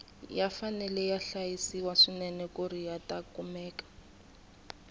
ya fanele ya hlayisiwa swinene kuri yata kumeka